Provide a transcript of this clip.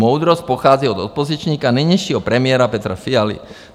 Moudrost pochází od opozičníka, nynějšího premiéra Petra Fialy.